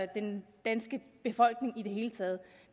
den danske befolkning i det hele taget